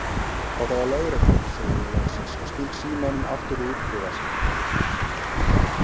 Þetta var lögreglan, segi ég loksins og sting símanum aftur í úlpuvasann.